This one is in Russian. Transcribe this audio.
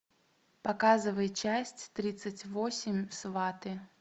показывай часть тридцать восемь сваты